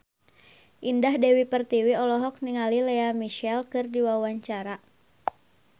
Indah Dewi Pertiwi olohok ningali Lea Michele keur diwawancara